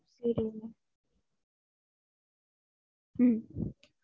சேரிங்க உம்